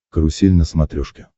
карусель на смотрешке